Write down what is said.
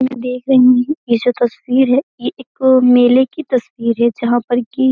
मैं देख रही हूं ये जो तस्वीर है ये एक मेले की तस्वीर है जहाँ पर की --